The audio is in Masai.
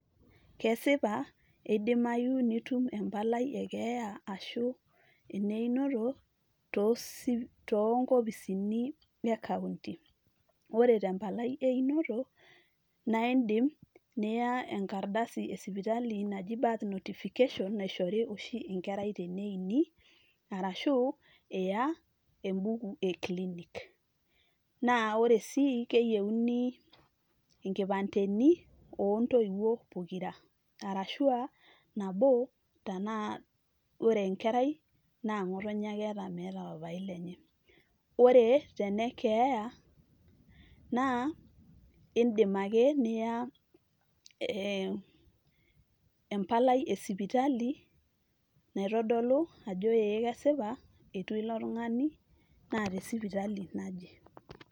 kesipa eidimayu nitum empalai ekeeya ashu ene inoto tonkopisini e county ore tempalai einoto naa indim niya enkardasi esipitali naji birth notification naishori oshi enkerai teneini arashu iya embuku e clinic naa ore sii keyieuni inkipandeni ontoiwuo pokira arashua nabo tanaa wore enkerai naa ng'otonye ake eeta meeta papai lenye wore tenekeeya naa indim ake niya ee empalai esipitali naitodolu ajo ee kesipa etua ilo tung'ani naa tesipitali naje.